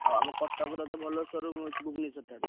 ଆଉ ଆମ କଟକରେ ଭଲ showroom ଅଛି ଭୂବନେଶ୍ବର ଠାରୁ।